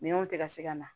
Minɛnw tɛ ka se ka na